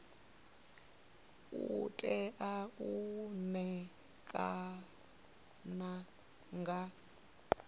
u tea u ṋekana nga